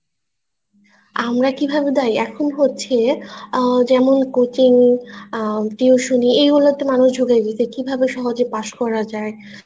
আমরা কিভাবে দায়ী এখন হচ্ছে আহ যেমন coaching আহ tuition ই এই গুলো তে মানুষ ঝোকে বেশি কিভাবে সহজে পাশ করা যায়